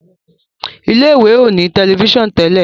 ilé ìwé o ní Tẹlifíṣàn Tẹlẹ.